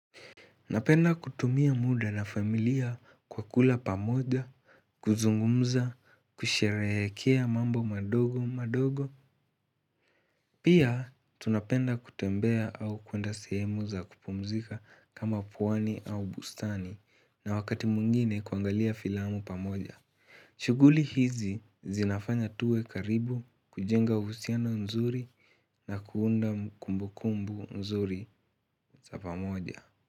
Napenda kutumia muda na familia kwa kula pamoja, kuzungumza, kusherehekea mambo madogo madogo. Pia tunapenda kutembea au kuenda sehemu za kupumzika kama pwani au bustani na wakati mwingine kuangalia filamu pamoja. Shughuli hizi zinafanya tuwe karibu, kujenga uhusiano nzuri na kuunda kumbukumbu nzuri za pamoja.